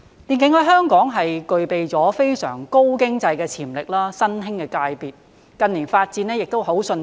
電競在香港具備了非常高經濟的潛力，是新興的界別，近年的發展亦很迅速。